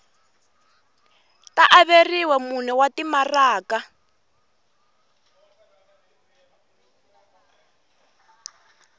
ta averiwa mune wa timaraka